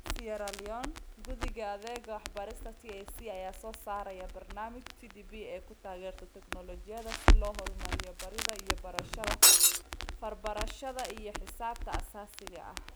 Sierra Leone, Guddiga Adeegga Waxbarista (TSC) ayaa soo saaraya barnaamij TPD ay ku taageerto teknoolojiyadda si loo horumariyo baridda iyo barashada farbarashada iyo xisaabta aasaasiga ah.